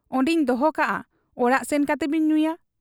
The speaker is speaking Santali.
ᱚᱱᱰᱮᱧ ᱫᱚᱦᱚ ᱠᱟᱜ ᱟ ᱚᱲᱟᱜ ᱥᱮᱱ ᱠᱟᱛᱮ ᱵᱤᱱ ᱧᱩᱭᱟ ?'